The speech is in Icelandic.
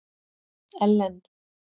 Ellen